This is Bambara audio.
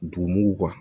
Dugumugu